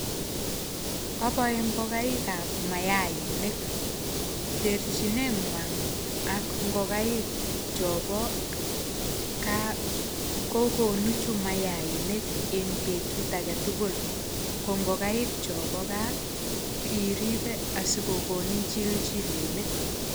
Aboe ngogaik ab maanik, terchinengwai ak ingokaik chombo kaa kogunu chu mayainik eng betut age tugul. Ko ngogaik chombo gaa iribe asikokonin chilchilenik.